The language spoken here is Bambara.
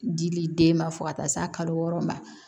Dili den ma fo ka taa s'a kalo wɔɔrɔ ma